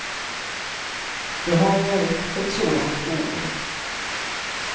Det har varit ett sådant år.